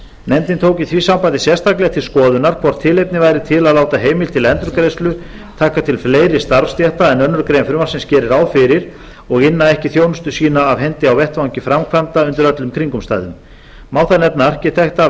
nefndin tók í því sambandi sérstaklega til skoðunar hvort tilefni væri til að láta heimild til endurgreiðslu taka til fleiri starfsstétta en önnur grein frumvarpsins gerir ráð fyrir og inna ekki þjónustu sína af hendi á vettvangi framkvæmda undir öllum kringumstæðum má þar nefna arkitekta